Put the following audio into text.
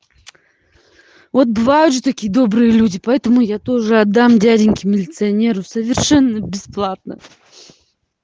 вот дважды такие добрые люди поэтому я тоже отдам дяденьке милиционеру совершенно бесплатно